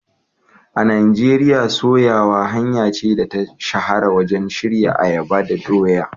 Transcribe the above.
A Najeriya, soyawa hanya ce da ta shahara wajen shirya ayaba da doya.